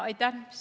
Aitäh!